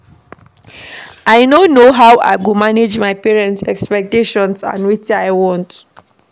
I no know how I go balance my parents expectations and wetin I want.